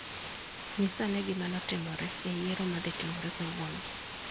Nyisa ane gima ne otimore e yiero ma ne dhi timore kawuono.